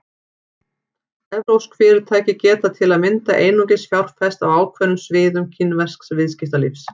Evrópsk fyrirtæki geta til að mynda einungis fjárfest á ákveðnum sviðum kínversks viðskiptalífs.